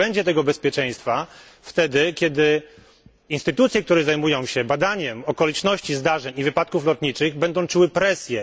Nie będzie tego bezpieczeństwa wtedy, kiedy instytucje, które zajmują się badaniem okoliczności zdarzeń i wypadków lotniczych, będą czuły presję.